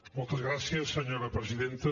moltes gràcies senyora presidenta